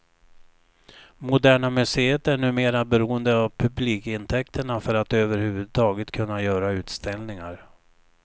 Moderna museet är numera beroende av publikintäkterna för att över huvud taget kunna göra utställningar.